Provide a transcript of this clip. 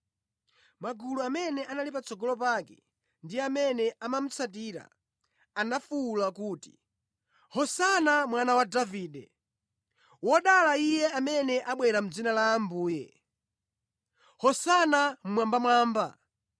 Magulu amene anali patsogolo pake ndi amene amamutsatira anafuwula kuti, “Hosana Mwana wa Davide!” “Wodala Iye amene abwera mʼdzina la Ambuye!” “Hosana mmwambamwamba!”